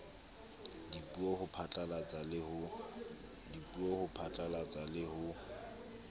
dipuo ho phatlalatsa le ho